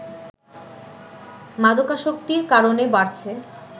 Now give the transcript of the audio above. মাদকাসক্তির কারণে বাড়ছে